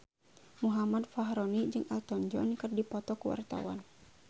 Muhammad Fachroni jeung Elton John keur dipoto ku wartawan